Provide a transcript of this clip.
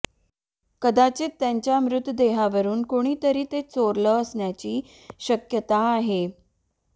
कदाचित त्यांच्या मृतदेहावरून कुणीतरी ते चोरलं असण्याची शक्यता आहे